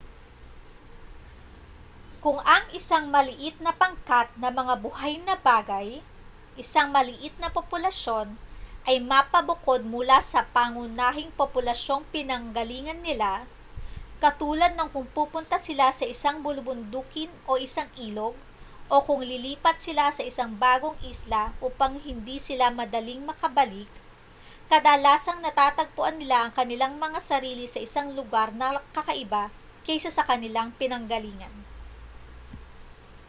kung ang isang maliit na pangkat ng mga buhay na bagay isang maliit na populasyon ay mapabukod mula sa pangunahing populasyong pinanggalingan nila katulad ng kung pupunta sila sa isang bulubundukin o sa isang ilog o kung lilipat sila sa isang bagong isla upang hindi sila madaling makabalik kadalasang natatagpuan nila ang kanilang mga sarili sa isang lugar na kakaiba kaysa sa kanilang pinanggalingan